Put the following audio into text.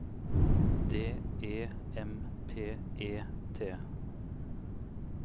D E M P E T